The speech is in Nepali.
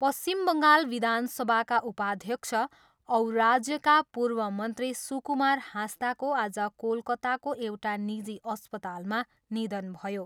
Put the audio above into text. पश्चिम बङ्गाल विधानसभाका उपाध्यक्ष औ राज्यका पूर्व मन्त्री सुकुमार हाँसदाको आज कोलकत्ताको एउटा निजी अस्पतालमा निधन भयो।